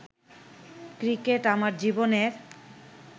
cricket আমার জীবনের